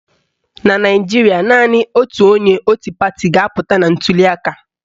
Na Naijiria, naanị otu onye otu pati ga-apụta na ntuliaka